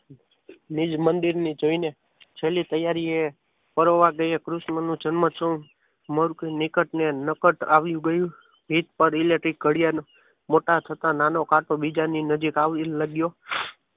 નિજ મંદિરને જોઈને જલી તૈયારી એ કરોવા કૃષ્ણનો જન્મ શું મોરને નિકટ અને નકટ આવી ગયું ઘડિયાળના મોટા થતા નાનો કાંટો બીજાની નજીક આવવા લાગ્યો.